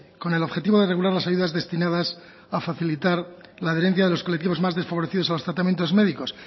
con el objetivo de regular las ayudas destinadas a facilitar la adherencia de los colectivos más desfavorecidos a los tratamientos médicos